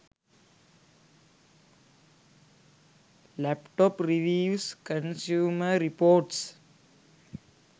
laptop reviews consumer reports